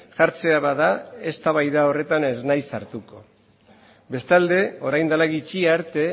jartzea bada eztabaida horretan ez naiz sartuko bestalde orain dela gutxi arte